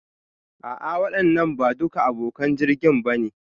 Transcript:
A'a waɗannan ba duka abokan jirgin ba ne